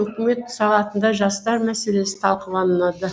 үкімет сағатында жастар мәселесі талқыланды